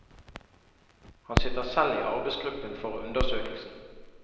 Han sitter selv i arbeidsgruppen for undersøkelsen.